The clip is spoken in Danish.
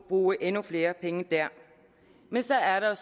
bruge endnu flere penge der men så er der